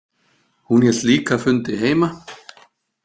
Hún hélt líka fundi heima.